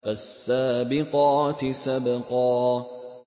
فَالسَّابِقَاتِ سَبْقًا